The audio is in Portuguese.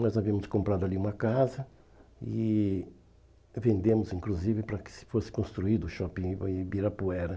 Nós havíamos comprado ali uma casa e e vendemos, inclusive, para que fosse construído o Shopping Ibi Ibirapuera.